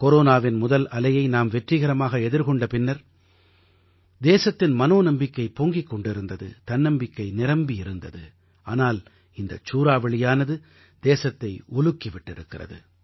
கொரோனாவின் முதல் அலையை நாம் வெற்றிகரமாக எதிர்கொண்ட பின்னர் தேசத்தின் மனோநம்பிக்கை பொங்கிக் கொண்டிருந்தது தன்னம்பிக்கை நிரம்பி இருந்தது ஆனால் இந்தச் சூறாவளியானது தேசத்தை உலுக்கி விட்டிருக்கிறது